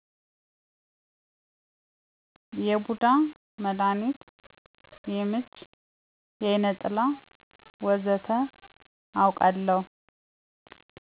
የቡዳ መዳኒት፣ የምች፣ የአይነ ጥላ ወዘተ አወቃለሁ